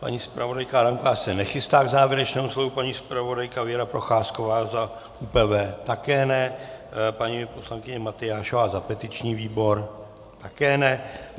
Paní zpravodajka Adámková se nechystá k závěrečnému slovu, paní zpravodajka Věra Procházková za UPV také ne, paní poslankyně Matyášová za petiční výbor také ne.